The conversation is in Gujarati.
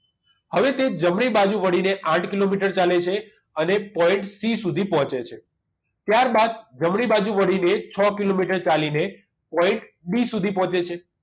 હવે તે જમણી બાજુ વળીને આઠ કિલોમીટર ચાલે છે અને point c સુધી પહોંચે છે ત્યારબાદ જમણી બાજુ વળીને છ કિલોમીટર ચાલીને point d સુધી પહોંચે છે